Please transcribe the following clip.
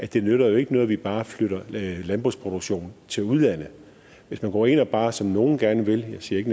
det nytter ikke noget at vi bare flytter landbrugsproduktionen til udlandet hvis man går ind og bare som nogle gerne vil jeg siger ikke